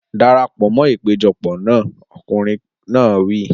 Dara pọ̀ mọ́ ìpéjọpọ̀ náà! Ọkùnrin náà wí.